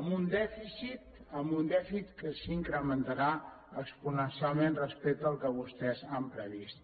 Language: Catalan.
amb un dèficit que s’incrementarà exponencialment respecte al que vostès han previst